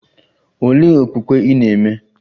Olee okpukpe ị na - eme?